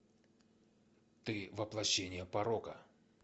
ты воплощение порока